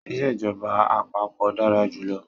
Ìsèjọba àpapọ̀ dára jù lọ.